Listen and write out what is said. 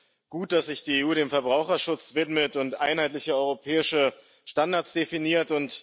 Es ist gut, dass sich die EU dem Verbraucherschutz widmet und einheitliche europäische Standards definiert.